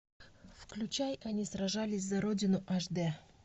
включай они сражались за родину аш дэ